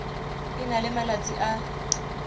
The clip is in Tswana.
e na le malatsi a